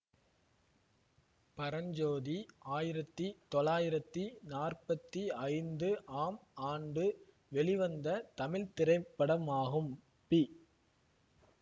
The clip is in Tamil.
பரஞ்சோதி ஆயிரத்தி தொளாயிரத்தி நாற்பத்தி ஐந்து ஆம் ஆண்டு வெளிவந்த தமிழ் திரைப்படமாகும் பி